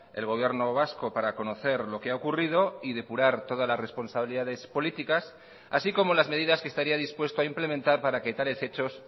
el gobierno vasco para conocer lo que ha ocurrido y depurar todas las responsabilidades políticas así como las medidas que estaría dispuesto a implementar para que tales hechos